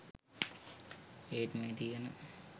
ඒත් මේ තියෙන